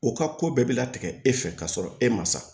O ka ko bɛɛ bɛ latigɛ e fɛ ka sɔrɔ e ma sa